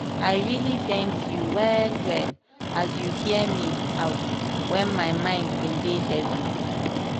i really thank you well well as you hear me out when my mind bin dey heavy.